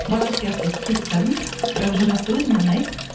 сияқты етіп қиып тастадым бірақ жарасты өзіме ұнайды